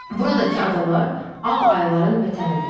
Buradakı adalar ağ ayılarının vətənidir.